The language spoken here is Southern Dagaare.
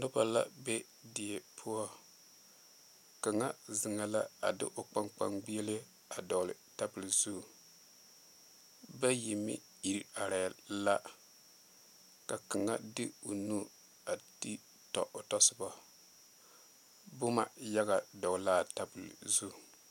Noba la be die poɔ kaŋa zeŋee la a de o kpakpagbɛle a dogle tabol zu bayi meŋ iri are la ka kaŋa de o nu a titɔ o tasoba boma yaga dogle la a tabol zu.